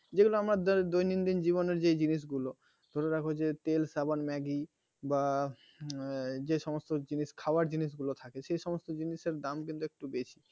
যেগুলো আমরা দৈনন্দিন জীবনে যে জিনিসগুলো ধরে রাখো যে তেল সাবান ম্যাগি বা যা যেসমস্ত জিনিস খাবার জিনিস গুলো থাকে সেই সমস্ত জিনিসের দাম কিন্তু একটু বেশি